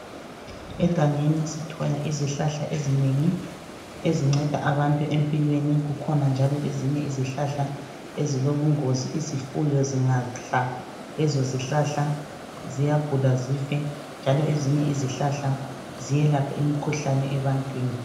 Egangeni kulezihlahla ezinengi ezinceda abantu empilweni, kukhona njalo ezinye izihlahla ezilobungozi izifuyo zingadla lezo zihlahla ziyagula zife. Njalo ezinye izihlahla ziyelapha imikhuhlane ebantwini.